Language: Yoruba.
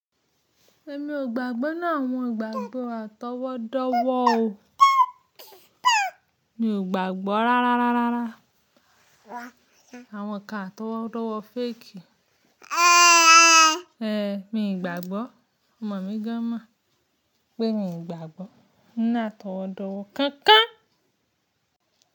Èmi ò gbàgbọ́ nínú àwọn ìgbàgbọ́ àtọwọ́dọ́wọ́ o. Mi ò gbàgbọ́ rárá rárá rárá àwọn ń kan àtọwọ́dọ́wọ́ fake. Ehn mi ò gbàgbọ́. Ọmọ mi gan an mò pé mi ò gbàgbọ́ nínú atọwọ́dọ́wọ́ kankan.